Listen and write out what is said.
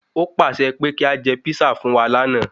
Ó pàṣẹ pé kí a jẹ písà fún wa lànà